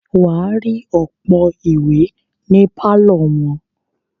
wà á rí ọ̀pọ̀ ìwé ní pálọ̀ wọn.